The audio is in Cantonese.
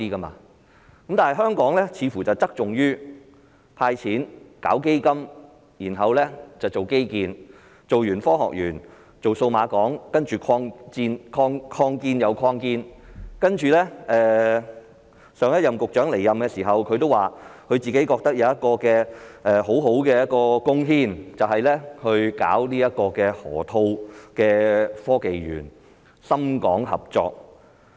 不過，香港似乎只側重於"派錢"、成立基金，然後便是搞基建，興建完科學園便興建數碼港，然後擴建又擴建，前局長離任時也說覺得自己有很好的貢獻，便是搞河套科技園，深港合作。